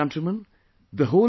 My dear countrymen,